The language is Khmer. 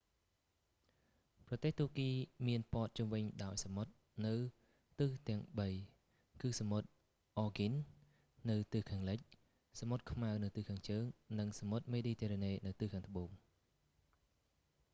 ប្រទេសទួរគីមានព័ទ្ធជុំវិញដោយសមុទ្រនៅទិសទាំងបី គឺសមុទ្រ អ៊ែរហ្គីន aegean នៅខាងលិចសមុទ្រខ្មៅនៅខាងជើង និងសមុទ្រមេឌីទែរ៉ាណេនៅខាងត្បូង